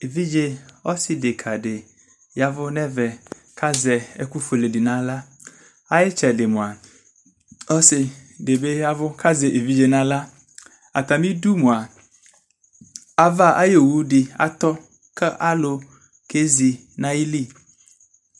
Evidze ɔse deka de yavu nɛvɛ kazɛ ɛku fuele nahla Aye tsɛde moa, ɔse de be yavu kazɛ evidze nahla Atame du moa ava aye owu de atɔ ka alu kezi nayili